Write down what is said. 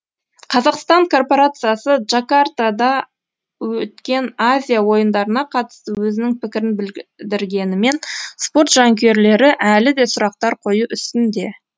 қазақстан корпорациясы джакартада өткен азия ойындарына қатысты өзінің пікірін білдіргенімен спорт жанкүйерлері әлі де сұрақтар қою үстінде